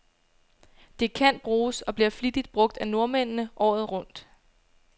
Det kan bruges, og bliver flittigt brug af nordmændene, året rundt.